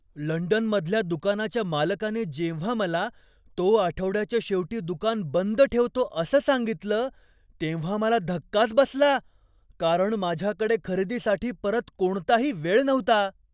लंडनमधल्या दुकानाच्या मालकाने जेव्हा मला, तो आठवड्याच्या शेवटी दुकान बंद ठेवतो असं सांगितलं, तेव्हा मला धक्काच बसला, कारण माझ्याकडे खरेदीसाठी परत कोणताही वेळ नव्हता.